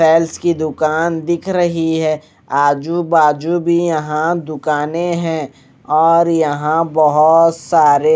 tiles की दुकान दिख रही है आजु बाजू भी यहां दुकानें हैं और यहां बहुत सारे--